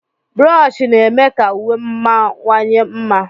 Brochi na-eme ka uwe mawanye mma.